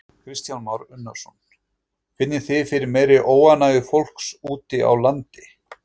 Kristján Már Unnarsson: Finnið þið fyrir meiri óánægju fólks úti á landi?